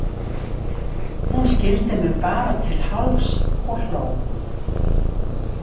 Hún skildi mig bara til hálfs og hló.